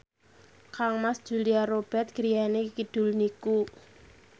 kangmas Julia Robert griyane kidul niku